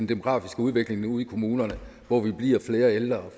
demografiske udvikling ude i kommunerne hvor vi bliver flere ældre og